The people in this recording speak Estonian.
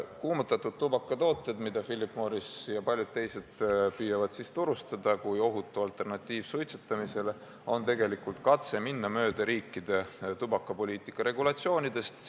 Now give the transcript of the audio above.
Kuumutatud tubakatooted, mida Philip Morris ja paljud teised püüavad turustada, rääkides ohutust alternatiivist suitsetamisele, on tegelikult katse minna mööda riikide tubakapoliitika regulatsioonidest.